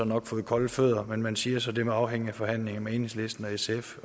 nok fået kolde fødder men man siger så at det må afhænge af forhandlingerne med enhedslisten og sf